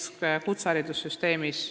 Või ka kutseharidussüsteemis.